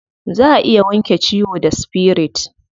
Za a iya wanke ciwo da spirit.